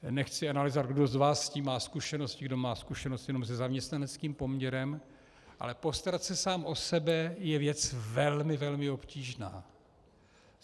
Nechci analyzovat, kdo z vás s tím má zkušenosti, kdo má zkušenosti jenom se zaměstnaneckým poměrem, ale postarat se sám o sebe je věc velmi, velmi obtížná.